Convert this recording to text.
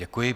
Děkuji.